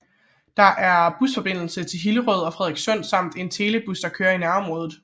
Der er busforbindelse til Hillerød og Frederikssund samt en telebus der kører i nærområdet